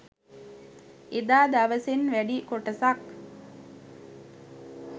එදා දවසෙන් වැඩි කොටසක්